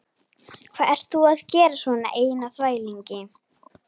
Hvað ert þú að gera svona einn á þvælingi?